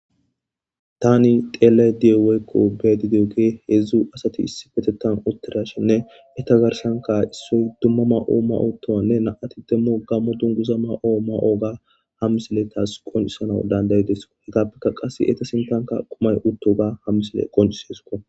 Tan xelayda woykko beyada do you hezhzhu asat isippeteththan utida hashenne eta garssan issoy dumma Maya mayo utiyoganne nam''ati qasseka gammo dunguza mayo mayoga ha missiley tas qoncssanwa tas danda'ides.